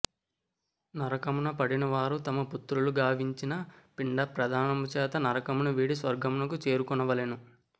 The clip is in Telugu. నరకమున పడినవారు తమ పుత్రులు గావించిన పిండ ప్రదానముచేత నరకమును వీడి స్వర్గమును చేరుకొనవలెను